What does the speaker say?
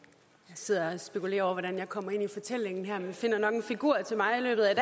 sidder og spekulerer over hvordan jeg kommer ind i fortællingen her men man finder nok en figur til mig i løbet af